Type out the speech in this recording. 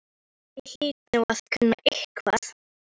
Ég hlyti nú að kunna eitthvað.